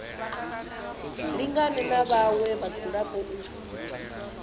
lingane na vhaṅwe vhadzulapo u